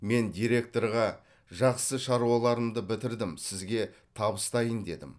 мен директорға жақсы шаруаларымды бітірдім сізге табыстайын дедім